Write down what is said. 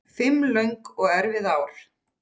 Fimm löng og erfið ár.